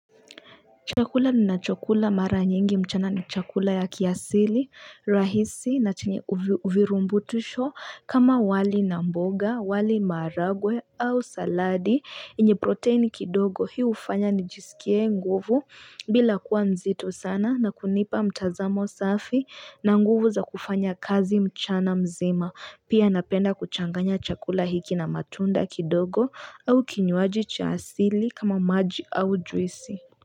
Chakula ninacho kula mara nyingi mchana ni chakula ya kiasili rahisi na chenye virumbutisho kama wali na mboga wali maragwe au saladi yenye protein kidogo hii hufanya nijisikie nguvu bila kuwa nzito sana na kunipa mtazamo safi na nguvu za kufanya kazi mchana mzima pia napenda kuchanganya chakula hiki na matunda kidogo au kinyuaji cha asili kama maji au juisi.